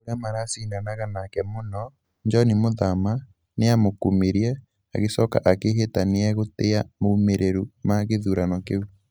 ũrĩa mara cindanaga naake mũno, Joni Mahama, nĩ aamũkumirie. Agicoka akĩĩhĩta atĩ nĩ egũtĩĩa moimĩrĩro ma gĩthurano kĩu.